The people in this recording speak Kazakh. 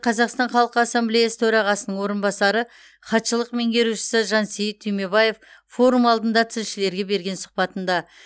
қазақстан халқы ассамблеясы төрағасының орынбасары хатшылық меңгерушісі жансейіт түймебаев форум алдында тілшілерге берген сұхбатында